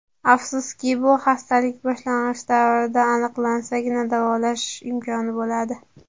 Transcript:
Afsuski, bu xastalik boshlang‘ich davrda aniqlansagina, davolash imkoni bo‘ladi.